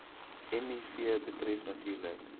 miv betref natuurlik